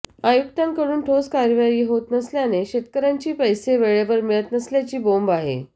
आयुक्तांकडून ठोस कार्यवाही होत नसल्याने शेतकर्यांचे पैसे वेळेवर मिळत नसल्याची बोंब आहे